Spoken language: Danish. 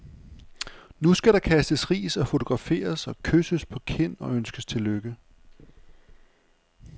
Nu skal der kastes ris og fotograferes og kysses på kind og ønskes til lykke.